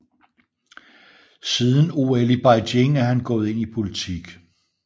Siden OL i Beijing er han gået ind i politik